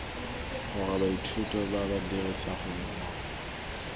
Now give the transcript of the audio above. gore baithuti ba dirisane mo